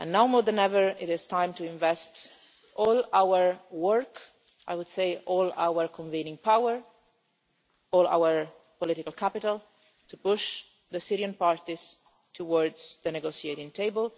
Now more than ever, it is time to invest all our work, all our convening power, all our political capital, to push the Syrian parties towards the negotiating table